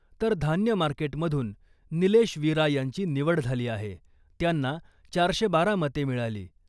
तर धान्य मार्केट मधून निलेश विरा यांची निवड झाली आहे, त्यांना चारशे बारा मते मिळाली .